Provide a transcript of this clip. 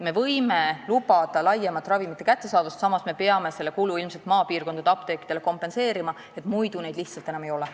Me võime lubada laiemat ravimite kättesaadavust, samas aga peame ilmselt maapiirkondade apteekidele selle kulu kompenseerima, sest muidu neid lihtsalt varsti enam ei ole.